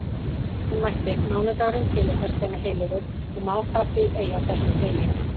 Hún mælti: Mánudagurinn tileinkast þeim heilögu og má það því ei á þessum degi